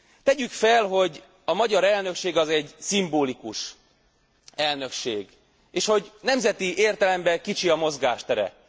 Tegyük fel, hogy a magyar elnökség az egy szimbolikus elnökség, és hogy nemzeti értelemben kicsi a mozgástere.